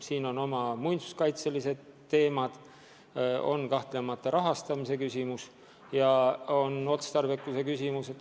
Siin on mängus muinsuskaitse küsimused, kahtlemata on mängus rahastamise küsimus ja ka otstarbekuse küsimus.